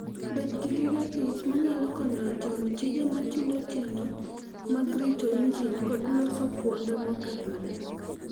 Bed gi gige tich ma nyalo konyo e timo tije matindo tindo mag rito injin kod loso kuonde mokethore.